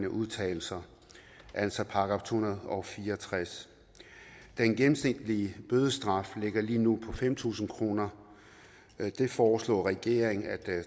udtalelser altså § to hundrede og fire og tres den gennemsnitlige bødestraf ligger lige nu på fem tusind kroner det foreslår regeringen at